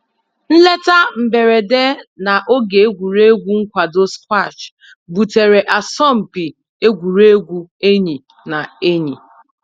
Nleta mberede na oge egwuregwu nkwado squash butere asọmpi egwuregwu enyi na enyi